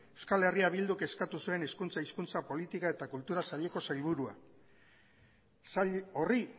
euskal herria bilduk eskatu zuen hezkuntza hizkuntza polítika eta kultura saileko sailburuak sail horri